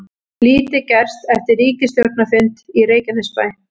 Lítið gerst eftir ríkisstjórnarfund í Reykjanesbæ